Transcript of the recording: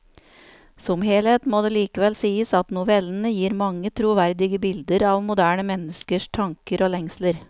Som helhet må det likevel sies at novellene gir mange troverdige bilder av moderne menneskers tanker og lengsler.